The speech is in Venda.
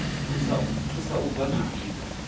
thusa u bva kha zwipia